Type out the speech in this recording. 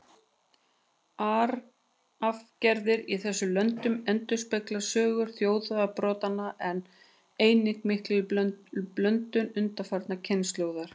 Arfgerðir í þessum löndum endurspegla sögu þjóðarbrotanna, en einnig mikla blöndun undanfarnar kynslóðir.